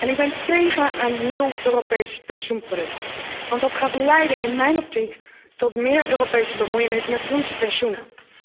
Ik ben tegen een nieuw Europees pensioenproduct, want dat gaat in mijn optiek leiden tot meer Europese bemoeienis met onze pensioenen.